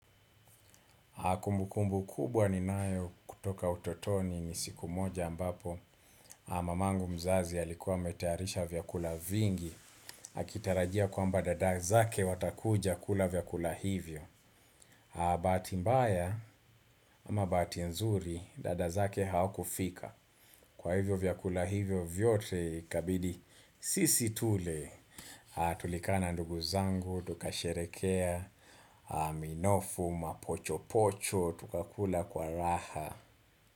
Kumbukumbu kubwa ni nayo kutoka utotoni ni siku moja ambapo mamangu mzazi alikuwa ametayarisha vyakula vingi. Akitarajia kwa mba dada zake watakuja kula vyakula hivyo. Bahati mbaya ama bahati nzuri dadazake hawakufika. Kwa hivyo vyakula hivyo vyote ikabidi sisi tule. Tulikaa na nduguzangu, tukasherekea, minofu, mapochopocho. Tukakula kwa raha.